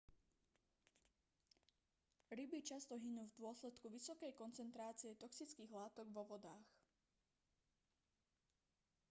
ryby často hynú v dôsledku vysokej koncentrácie toxických látok vo vodách